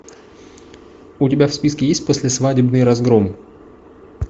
у тебя в списке есть послесвадебный разгром